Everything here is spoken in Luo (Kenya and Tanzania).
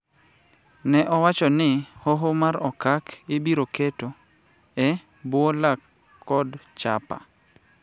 ne owacho ni Hoho mar Okak ibiro keto e bwo lak kod chapa